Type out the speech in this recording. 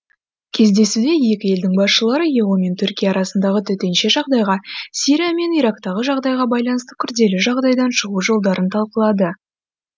кездесуде екі елдің басшылары ео мен түркия арасындағы төтенше жағдайға сирия мен ирактағы жағдайға байланысты күрделі жағдайдан шығу жолдарын талқылады